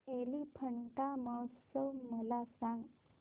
एलिफंटा महोत्सव मला सांग